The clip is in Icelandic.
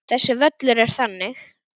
Þessi völlur er þannig.